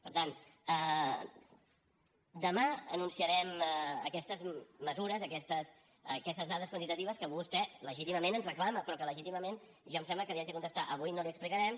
per tant demà anunciarem aquestes mesures aquestes dades quantitatives que vostè legítimament ens reclama però que legítimament jo em sembla que li haig de contestar avui no li ho explicarem